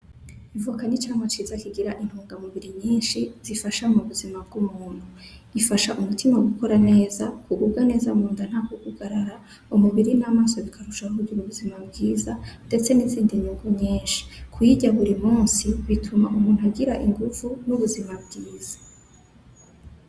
Ivoka ni icamwa ciza kigira intungamubiri nyinshi zifasha mu buzima bw'umuntu. Ifasha umutima gukora neza, kugubwa neza munda nta kugugarara, umubiri n'amaso bikarusha kugira ubuzima bwiza, ndetse nizindi nyungu nyinshi. Kuyirya buri munsi bituma umuntu agira inguvu n'ubuzima bwiza.